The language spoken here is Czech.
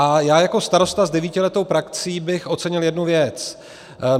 A já jako starosta s devítiletou praxí bych ocenil jednu věc.